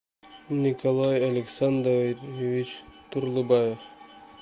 николай александрович турлыбаев